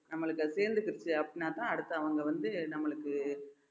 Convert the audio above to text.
நம்மளுக்கு அது சேர்ந்துக்கிடுச்சு அப்படின்னாதான் அடுத்து அவங்க வந்து நம்மளுக்கு